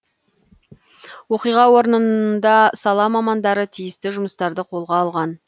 оқиға орнында сала мамандары тиісті жұмыстарды қолға алған